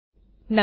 નમસ્તે મિત્રો